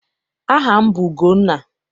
Aha m bụ Ugonna.